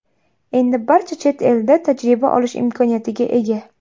Endi barcha chet elda tajriba olish imkoniyatiga ega.